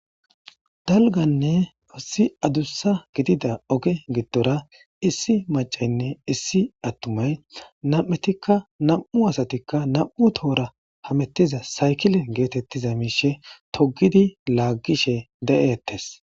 Dalganne issi adussa gidida oge giddora issi macaynne issi attumay nam'etikka nam'u asatikka nam'u toora hamettiza saykile geetettiza miishe togidi laaggishe de'ettes.